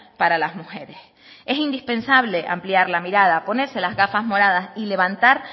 para las mujeres es indispensable ampliar la mirada ponerse las gafas moradas y levantar